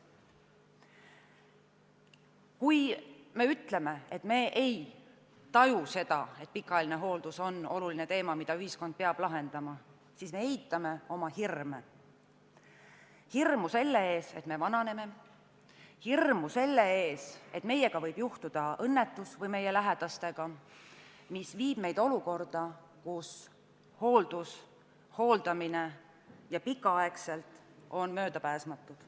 Kui me ütleme, et me ei taju seda, et pikaajaline hooldus on oluline teema, mille ühiskond peab lahendama, siis me eitame oma hirme – hirmu selle ees, et me vananeme, hirmu selle ees, et meie või meie lähedastega võib juhtuda õnnetus, mis viib meid olukorda, kus hooldamine, võib-olla ka väga pikka aega, on möödapääsmatu.